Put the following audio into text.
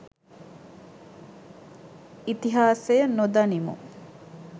ඉතිහාසය නොදනිමු.